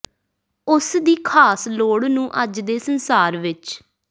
ਉਸ ਦੀ ਖਾਸ ਲੋੜ ਨੂੰ ਅੱਜ ਦੇ ਸੰਸਾਰ ਵਿਚ